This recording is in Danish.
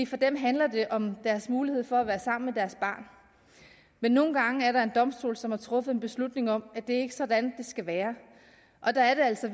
for dem handler om deres mulighed for at være sammen med deres barn men nogle gange er der en domstol som har truffet en beslutning om at det ikke er sådan det skal være og der er det altså